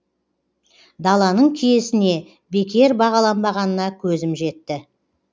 даланың киесіне бекер баланбағанына көзім жетті